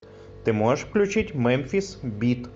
ты можешь включить мемфис бит